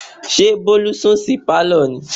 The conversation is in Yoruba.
ṣé bólú sùn sí Pálọ̀ ni?